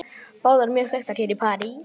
Báðar mjög þekktar hér í París.